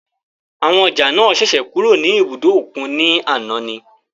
Àwọn ọjà náà ṣẹ̀ṣẹ̀ kúrò ní ibùdó òkun ní àná ni.